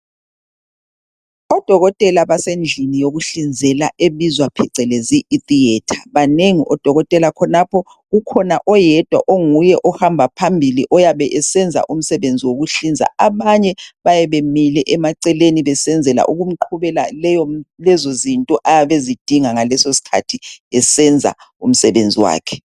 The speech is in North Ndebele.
Odokotela basendlini yokuhlinzela ebizwa phecelezi itheatre .Banemgi odokotela khonapho . Ukhona oyedwa ohamba phambili oyabe esenza umsebenzi wokuhlinza abanye bayabe bemile emaceleni besenzela ukumqhubela lezo zinto ayabe ezidinga ngaleso skhathi esenza umsebenzi wakhe .